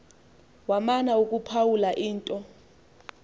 wamana ukuphawula into